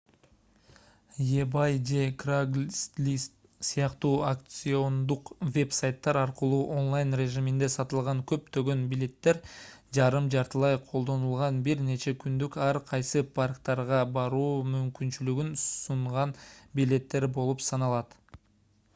ebay же craigslist сыяктуу аукциондук веб-сайттар аркылуу онлайн режиминде сатылган көптөгөн билеттер жарым-жартылай колдонулган бир нече күндүк ар кайсы парктарга баруу мүмкүнчүлүгүн сунган билеттер болуп саналат